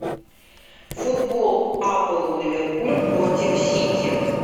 футбол апл ливерпуль против сити